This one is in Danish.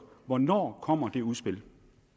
hvornår kommer det udspil